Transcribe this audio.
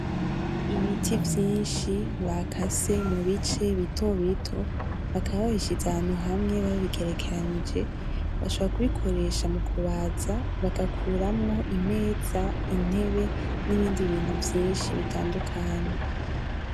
Ibiti vyinshi bakase mu bice bito bito bakaba babishize ahantu hamwe babigerekeranyije, bashaka kubikoresha mu kubaza bagakuramo imeza, intebe, n'ibindi bintu vyinshi bitandukanye.